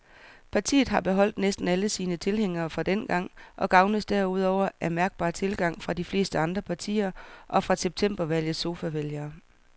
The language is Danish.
Partiet har beholdt næsten alle sine tilhængere fra dengang og gavnes derudover af mærkbar tilgang fra de fleste andre partier og fra septembervalgets sofavælgere.